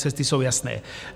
Cesty jsou jasné.